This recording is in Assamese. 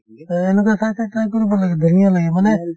এই এনেকুৱা চাই চাই try কৰিব লাগে ধুনীয়া লাগে মানে